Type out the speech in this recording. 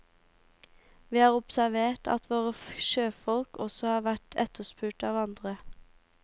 Vi har observert at våre sjøfolk også har vært etterspurt av andre.